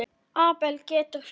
Abel getur þýtt